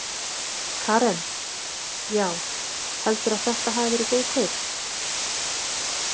Karen: Já, heldurðu að þetta hafi verið góð kaup?